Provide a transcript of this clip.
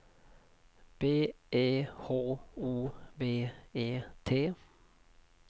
B E H O V E T